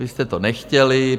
Vy jste to nechtěli.